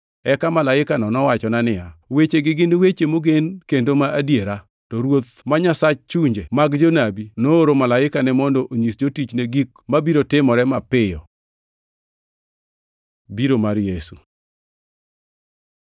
Eka malaikano nowachona niya, “Wechegi gin weche mogen kendo ma adiera. To Ruoth ma Nyasach chunje mag jonabi, nooro malaikane mondo onyis jotichne gik mabiro timore mapiyo.” Biro mar Yesu